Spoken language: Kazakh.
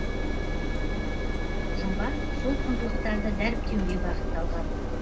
жоба сол құндылықтарды дәріптеуге бағытталған